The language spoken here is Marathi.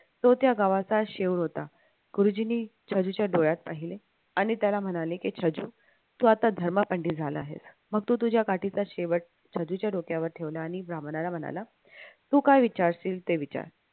तो त्या गावाचा होता गुरुजींनी छज्जूच्या डोळ्यात पाहिले आणि त्याला म्हणाले की छज्जू तू आता धर्मपंडित झाला आहेस मग तू तुझ्या काठीचा शेवट डोक्यावर ठेवला आणि ब्राह्मणाला म्हणाला तू काय विचारशील ते विचार